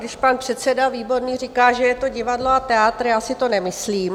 Když pan předseda Výborný říká, že je to divadlo a teátr, já si to nemyslím.